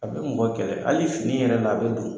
A be mɔgɔ kɛlɛ hali fini yɛrɛ la a be don